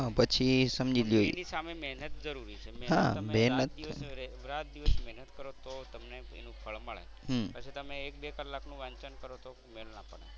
મહેનત તમે રાત દિવસ રાત દિવસ મહેનત કરો તો તમને એનું ફળ મળે. પછી તમે એક બે કલાકનું વાંચન કરો તો મેળ ના પડે.